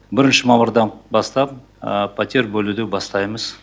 бірінші мамырдан бастап пәтер бөлуді бастаймыз